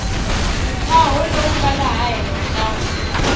ntshaho lowu nga laha henhla